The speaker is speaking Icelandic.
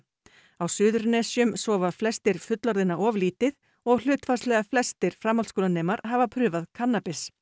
á Suðurnesjum sofa flestir fullorðinna of lítið og hlutfallslega flestir framhaldsskólanemar hafa prófað kannabis